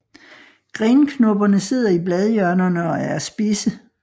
Grenknopperne sidder i bladhjørnerne og er spidse